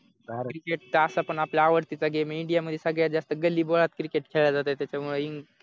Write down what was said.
cricket तर असा पण आपल्या आवडतीचा गेम ए इंडिया मध्ये सगळ्यात जास्त गल्लीगोळात क्रिकेट खेळतात त्याच्यामुळे इंग क्रिकेट